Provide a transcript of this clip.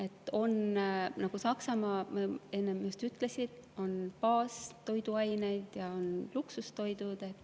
Ja nagu ma enne ütlesin, Saksamaal, mis on baastoiduained ja mis on luksustoiduained.